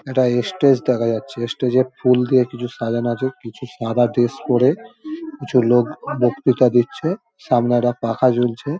একটা এস্টেজ দেখা যাচ্ছে। এস্টেজ ফুল দিয়ে কিছু সাজানো আছে। কিছু সাদা পরে কিছু লোক বক্তৃতা দিচ্ছে। সামনে একটা পাখা ঝুলছে।